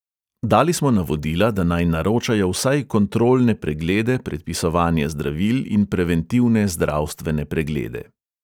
Dali smo navodila, da naj naročajo vsaj kontrolne preglede, predpisovanje zdravil in preventivne zdravstvene preglede.